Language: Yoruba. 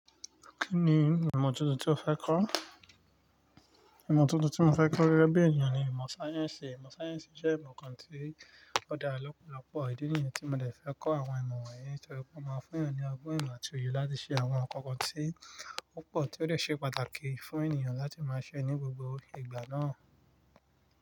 Kí ni ìmọ̀ tuntun tí o fẹ́ kọ́? Ìmọ̀ tuntun tí mo fẹ́ kọ́ gége bí ènìyàn ni ìmọ̀ sáyẹ́sì. Ìmọ̀ sáyẹ́sì jẹ́ ìmọ̀ kan tí ó dára lọ́pọ̀lọ́pọ̀. Ìdí nìyẹn tí mo dè fẹ́ kọ́ àwọn ìmọ̀ wọ̀nyí torí pé ó máa fún èèyàn ní ọgbọ́n ìmọ̀ àti òye láti ṣe àwọn ǹkan kan tí púpọ̀ tí ó dè ṣe pàtàkì fún ènìyàn láti máa ṣe ní gbogbo ìgbà náà.